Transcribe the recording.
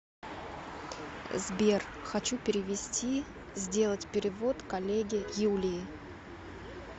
сбер хочу перевести сделать перевод коллеге юлии